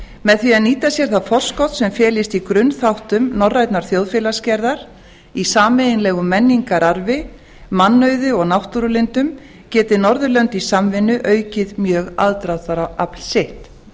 með því að nýta sér það forskot sem felist í grunnþáttum norrænnar þjóðfélagsgerðar í sameiginlegum menningararfi mannauði og náttúrulindum geti norðurlönd i samvinnu aukið mjög aðdráttarafl sitt